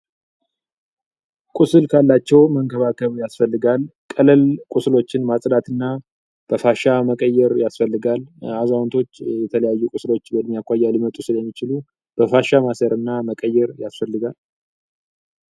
ቁስል ካላቸው መንከባከብ ያስፈልጋል ቀለል ቁስሎችን ማጽዳት እና በፋሻ መቀየር ያስፈልጋል አዛውንቶች የተለያዩ ቁስሎች የሚያኳያ ሊመጡ ስለ ያሚችሉ በፋሻ ማሰር እና መቀየር ያስፈልጋል፡፡